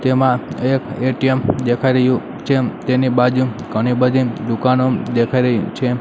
તેમાં એક એ_ટી_એમ દેખાય રહ્યું છે તેની બાજુમ ઘણી બધી દુકાનો દેખાય રહી છે.